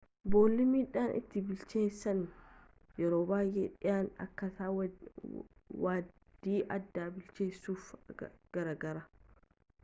boolli midhaan itti bilcheessan yeroo baay'ee dhiyana akkaataa waaddii aadaa bilcheessuuf gargaara